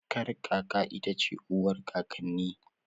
Kakar kaka ita ce uwar kakanni